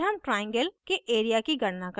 फिर हम triangle के area की गणना करते हैं